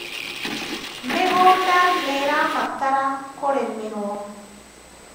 mĩgũnda nĩrabatara kũrĩmirwo